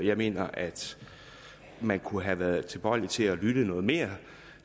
jeg mener at man kunne have været tilbøjelig til at lytte noget mere